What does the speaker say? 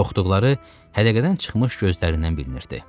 Qorxduqları hədəqədən çıxmış gözlərindən bilinirdi.